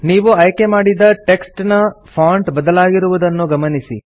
ನೀವು ಆಯ್ಕೆ ಮಾಡಿದ ಟೆಕ್ಸ್ಟ್ ನ ಫಾಂಟ್ ಬದಲಾಗಿರುವುದನ್ನು ಗಮನಿಸಿ